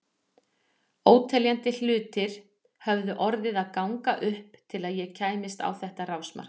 Óteljandi hlutir höfðu orðið að ganga upp til að ég kæmist á þetta rásmark.